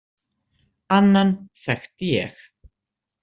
Annan þekkti ég.